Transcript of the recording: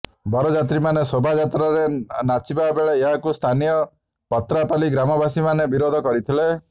ବରଯାତ୍ରୀମାନେ ଶୋଭାଯାତ୍ରାରେ ନାଚିବା ବେଳେ ଏହାକୁ ସ୍ଥାନୀୟ ପତ୍ରାପାଲି ଗ୍ରାମବାସୀମାନେ ବିରୋଧ କରିଥିଲେ